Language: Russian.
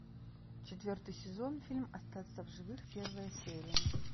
четвертый сезон фильм остаться в живых первая серия